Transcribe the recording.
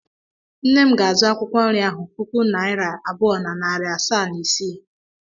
Nne m ga-azụ akwụkwọ nri ahụ puku naịra abụọ na narị asaa na ise.